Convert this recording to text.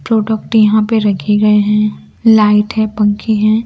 Product यहां पे रखे गए हैं लाइट है पंखे हैं।